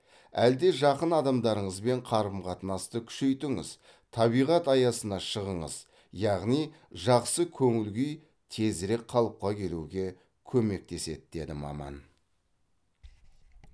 әлде жақын адамдарыңызбен қарым қатынасты күшейтіңіз табиғат аясына шығыңыз яғни жақсы көңіл күй тезірек қалыпқа келуге көмектеседі деді маман